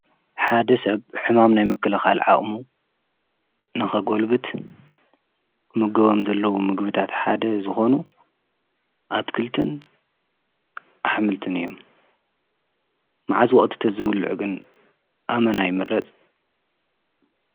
ሓደ ሰብ ሕማም ናይ ምክለኻል ዓቕሙ ንኸጐልብት ክምገቦም ዘለዉ ምግብታት ሓደ ዝኾኑ ኣትክልትን ኣሕምልትን እዩ። መዓዝ ወቕቲ ተዘብልዕ ግን ኣመና ይ ምረጽ?